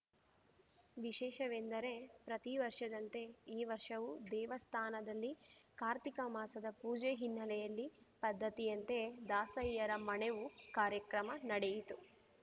ವಿಶೇಷವೆಂದರೆ ಪ್ರತಿವರ್ಷದಂತೆ ಈ ವರ್ಷವೂ ದೇವಸ್ಥಾನದಲ್ಲಿ ಕಾರ್ತಿಕಮಾಸದ ಪೂಜೆ ಹಿನ್ನೆಲೆಯಲ್ಲಿ ಪದ್ಧತಿಯಂತೆ ದಾಸಯ್ಯರ ಮಣೆವು ಕಾರ್ಯಕ್ರಮ ನಡೆಯಿತು